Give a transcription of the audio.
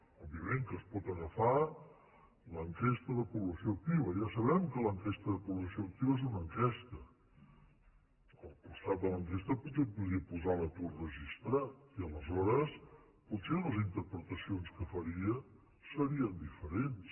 òbviament que es pot agafar l’ enquesta de població activa ja sabem que l’enquesta de po blació activa és una enquesta al costat de l’enquesta potser podríem posar l’atur registrat i aleshores potser les interpretacions que faria serien diferents